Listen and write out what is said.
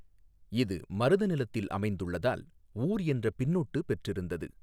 இது மருத நிலத்தில் அமைந்துள்ளதால் ஊா் என்ற பின்னொட்டு பெற்றிருந்தது.